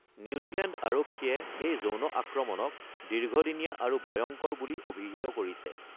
New Zealand আৰক্ষীয়ে এই যৌন আক্ৰমণক “দীৰ্ঘদিনীয়া আৰু ভয়ংকৰ” বুলি অভিহিত কৰিছে।